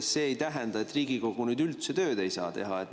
See ei tähenda, et Riigikogu üldse tööd ei saa teha.